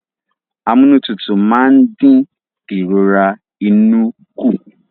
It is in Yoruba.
Amúnútutù máa ń dín ìrora inú kù